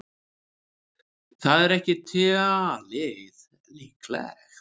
Það er ekki talið líklegt.